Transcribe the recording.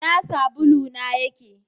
Ina sabulu na yake?